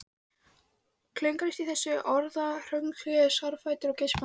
Klöngrast í þessu orðahröngli sárfættur og geispandi.